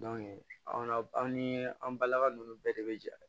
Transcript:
an na an ni an balaka ninnu bɛɛ de bɛ jɛ